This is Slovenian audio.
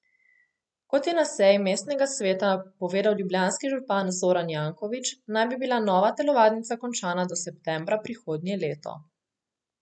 Kot je na seji mestnega sveta povedal ljubljanski župan Zoran Janković, naj bi bila nova telovadnica končana do septembra prihodnje leto.